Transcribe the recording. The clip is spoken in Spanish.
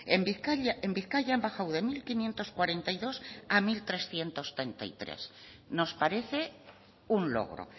en bizkaia han bajado de mil quinientos cuarenta y dos a unohirurehun eta hogeita hamairugarrena nos parece un logro